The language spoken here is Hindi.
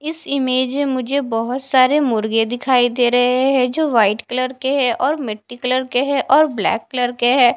इस इमेज में मुझे बहुत सारे मुर्गे दिखाई दे रहे है जो वाइट कलर के है और मिट्टी कलर के है और ब्लैक कलर के है।